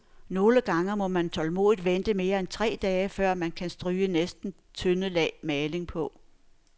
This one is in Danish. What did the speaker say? Nogle gange må man tålmodigt vente mere end tre dage, før man kan stryge næste tynde lag maling på.